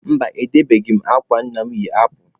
Mba, edebeghị m akwa nna mụ yi apụ.